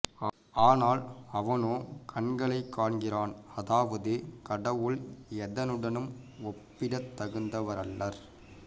ஆனால் அவனோ கண்களைக் காண்கிறான் அதாவது கடவுள் எதனுடனும் ஒப்பிடத் தகுந்தவரல்லர்